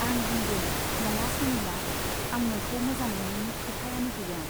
आं बुंदों, नङा सुमिला , आं नोंखौ मोजां मोनैनि खोथायानो गैया।